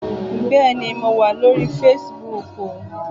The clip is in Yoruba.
Bẹ́ẹ̀ni mo wà lórí fesibúùkù